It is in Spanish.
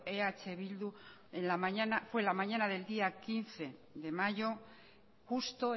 eh bildu fue en la mañana del día quince de mayo justo